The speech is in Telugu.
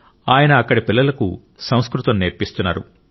ఆయన అక్కడి పిల్లలకు సంస్కృతం నేర్పిస్తున్నారు